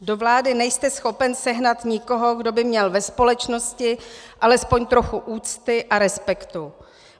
Do vlády nejste schopen sehnat nikoho, kdo by měl ve společnosti alespoň trochu úcty a respektu.